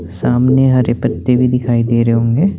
सामने हरे पत्ते भी दिखाई दे रहे होंगे।